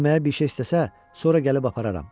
Yeməyə bir şey istəsə, sonra gəlib apararam.